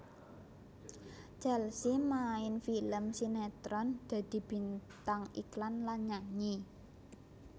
Chelsea main film sinetron dadi bintang iklan lan nyanyi